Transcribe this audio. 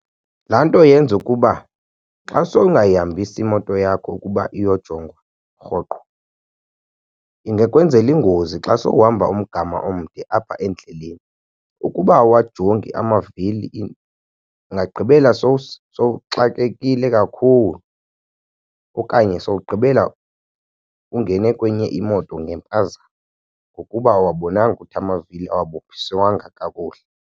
Laa nto yenza ukuba xa sowungayihambisi imoto yakho ukuba iyojongwa rhoqo ingekwenzela iingozi xa sowuhamba umgama omde apha endleleni. Ukuba awuwajongi amavili ingagqibela sowuxakekile kakhulu okanye sowugqibela ungene kwenye imoto ngempazamo ngokuba awuwabonanga ukuthi amavili awabophiswanga kakuhle.